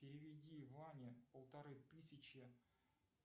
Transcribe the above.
переведи ване полторы тысячи